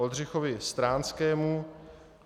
Oldřichovi Stránskému